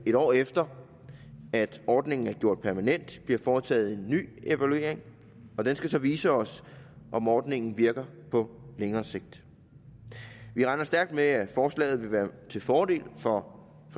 en år efter at ordningen er gjort permanent bliver foretaget en ny evaluering og den skal så vise os om ordningen virker på længere sigt vi regner stærkt med at forslaget vil være til fordel for